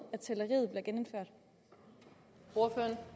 at